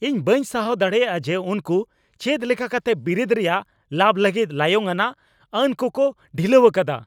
ᱤᱧ ᱵᱟᱹᱧ ᱥᱟᱦᱟᱣ ᱫᱟᱲᱮᱭᱟᱜᱼᱟ ᱡᱮ ᱩᱱᱠᱩ ᱪᱮᱫᱞᱮᱠᱟ ᱠᱟᱛᱮ ᱵᱤᱨᱤᱫ ᱨᱮᱭᱟᱜ ᱞᱟᱵᱷ ᱞᱟᱹᱜᱤᱫ ᱞᱟᱭᱚᱝ ᱟᱱᱟᱜ ᱟᱹᱱ ᱠᱚᱠᱚ ᱰᱷᱤᱞᱟᱹᱣ ᱟᱠᱟᱫᱟ ᱾